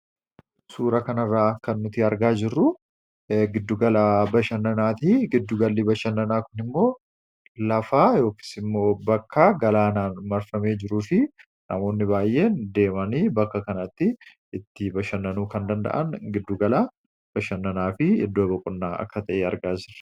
suura kanarraa kannuti argaa jirru giddugalaa bashannanaati giddugalli bashannanaa kun immoo lafaa yookis immoo bakka galaanaan marfamee jiruu fi namoonni baay'een deemanii bakka kanatti itti bashannanuu kan danda'an giddugalaa bashannanaa fi iddoo boqonnaa akka ta'e argaa jirra